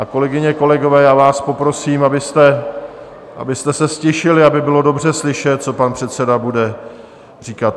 A kolegyně, kolegové, já vás poprosím, abyste se ztišili, aby bylo dobře slyšet, co pan předseda bude říkat.